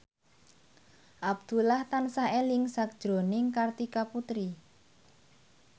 Abdullah tansah eling sakjroning Kartika Putri